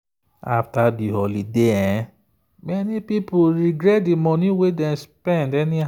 after the holiday many people regret the money wey dem spend anyhow.